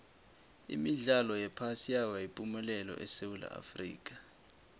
imidlalo yephasi yaba yipumelelo lapha esewula afrika